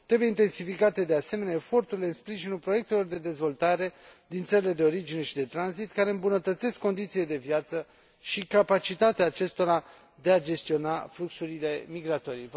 Trebuie intensificate, de asemenea, eforturile în sprijinul proiectelor de dezvoltare din țările de origine și de tranzit, care îmbunătățesc condițiile de viață și capacitatea acestora de a gestiona fluxurile migratorii.